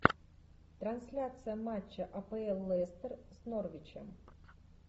трансляция матча апл лестер с норвичем